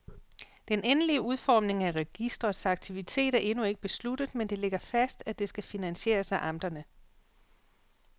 Den endelige udformning af registrets aktivitet er endnu ikke besluttet, men det ligger fast, at det skal finansieres af amterne.